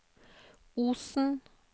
Osen